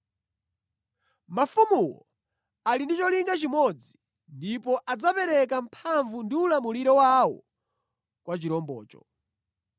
Mafumuwo ali ndi cholinga chimodzi ndipo adzapereka mphamvu ndi ulamuliro wawo kwa chirombocho.